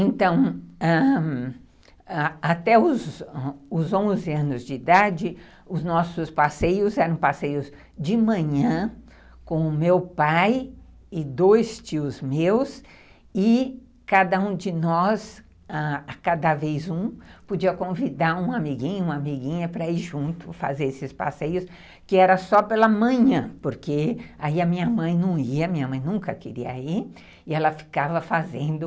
Então, ãh, até os onze anos de idade, os nossos passeios eram passeios de manhã, com o meu pai e dois tios meus, ãh, e cada um de nós, cada vez um, podia convidar um amiguinho, uma amiguinha, para ir junto fazer esses passeios, que era só pela manhã, porque aí a minha mãe não ia, minha mãe nunca queria ir, e ela ficava fazendo...